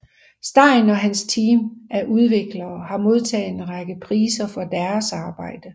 Stein og hans team af udviklere har modtaget en række priser for deres arbejde